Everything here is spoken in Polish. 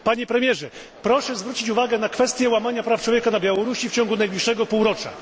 Panie premierze, proszę zwrócić uwagę na kwestię łamania praw człowieka na Białorusi w ciągu najbliższego półrocza.